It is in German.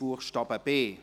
Buchstabe b